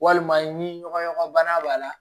Walima ni ɲɔgɔn bana b'a la